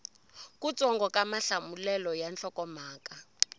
kutsongo ka mahlamulelo ya nhlokomhaka